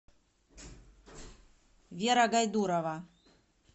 вера гайдурова